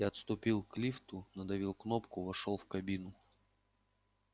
я отступил к лифту надавил кнопку вошёл в кабину